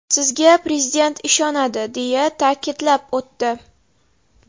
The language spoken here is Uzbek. Sizga Prezident ishonadi”, deya ta’kidlab o‘tdi.